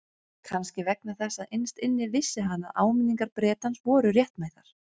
Kannski vegna þess að innst inni vissi hann að áminningar Bretans voru réttmætar.